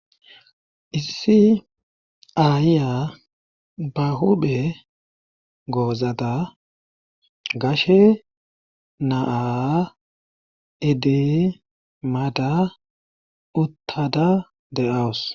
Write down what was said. issi ayiya ba huphe goozada gashe naa iidi maada uttada de7awus